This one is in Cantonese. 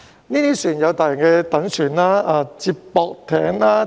這些船隻有大型躉船、接駁艇等。